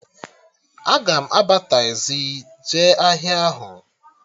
Aga m aba tazii jee ahịa ahụ